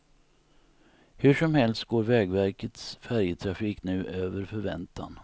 Hur som helst går vägverkets färjetrafik nu över förväntan.